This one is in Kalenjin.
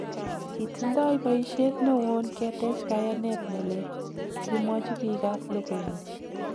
"Kitindoi boishet newon ketech kayanet nelel," Kimwochi biikab logoiwek.